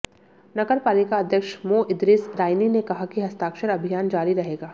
नगर पालिका अध्यक्ष मो इदरीस राइनी ने कहा कि हस्ताक्षर अभियान जारी रहेगा